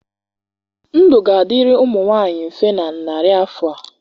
Ndụ ga-adịrị ụmụ nwanyị mfe na narị afọ a